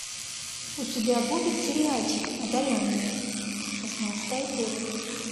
у тебя будет сериальчик одаренные шестнадцатая серия